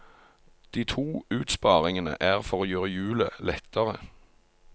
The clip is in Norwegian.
De to utsparingene er for å gjøre hjulet lettere.